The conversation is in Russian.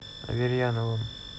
аверьяновым